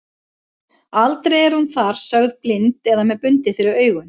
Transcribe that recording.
Aldrei er hún þar sögð blind eða með bundið fyrir augun.